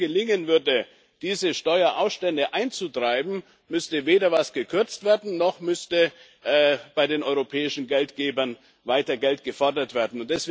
Wenn es nur gelingen würde, diese Steuerausstände einzutreiben, müsste weder etwas gekürzt werden, noch müsste bei den europäischen Geldgebern weiter Geld gefordert werden.